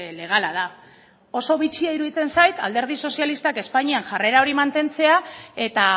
legala da oso bitxia iruditzen zait alderdi sozialistak espainian jarrera hori mantentzea eta